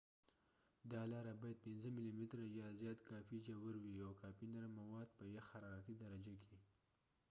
دا لاره باید 5 ملی متره نیم انچ یا زیات کافي ژور وي، او کافي نرم مواد په یخ حرارتي درجه کې